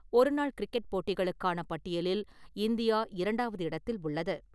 ஒரு நாள் கிரிக்கெட் போட்டிகளுக்கான பட்டியலில் இந்தியா இரண்டாவது இடத்தில் உள்ளது.